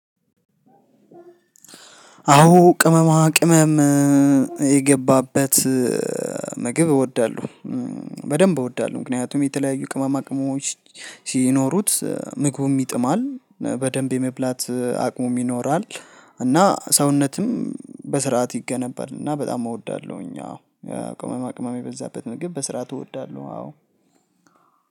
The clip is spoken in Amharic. አዎ ቅመማ ቅመም የገባበት ምግብ እወዳለሁ በደንብ እወዳለሁ ምክንያቱም የተለያዩ ቅመማ ቅመሞች ሲኖሩት ምግቡም ይጥማል በደንብ የመብላት አቅሙም ይኖራል። እና ሰውነትም በስርዓት ይገነባል እና በጣም እወዳለሁኝ። አዎ ቅመማ ቅመማ የበዛበት ምግብ በስርዓት እወዳለሁ አዎ።